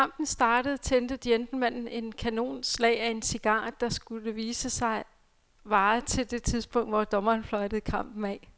Da kampen startede tændte gentlemanen et kanonslag af en cigar, der, skulle det vise sig, varede til det tidspunkt, hvor dommeren fløjtede kampen af.